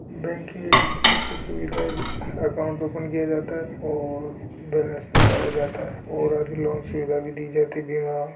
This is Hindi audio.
बैंक की एक ऐसे सुविधा है जैसे अकाउंट ओपन किया जाता हैं और बैलन्स निकाला जाता हैं और आदि लोन्स सुविधा भी दी जाती है न--